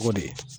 O de ye